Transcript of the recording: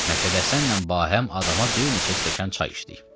Məşədi Həsənlə bahəm adama bir neçə stəkan çay içdik.